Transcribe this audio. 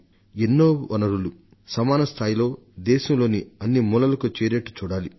ఎన్నో వనరులు సమాన స్థాయిలో దేశంలోని అన్ని మూలలకు చేరేట్టు చూడాలి